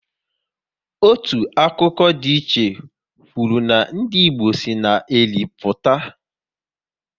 Otu akụkọ ndiiche kwụrụ na ndị Igbo si na Eri pụta